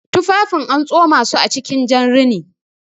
Tufafin an tsomasu acikin jan rini